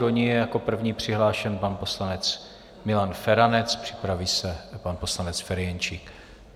Do ní je jako první přihlášen pan poslanec Milan Feranec, připraví se pan poslanec Ferjenčík.